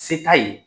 Se t'a ye